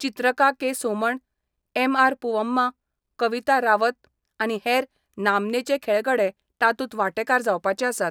चित्रका K Soman, MR Poovamma, Kavita Rawat आनी हेर नामनेचे खेळगडे तातूंत वांटेकार जावपाचे आसात.